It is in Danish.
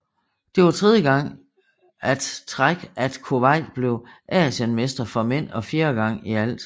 Det var tredje gang at træk at Kuwait blev Asienmestre for mænd og fjerde gang i alt